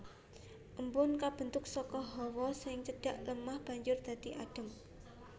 Embun kabentuk saka hawa sing cedhak lemah banjur dadi adem